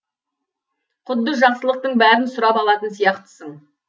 құдды жақсылықтың бәрін сұрап алатын сияқтысың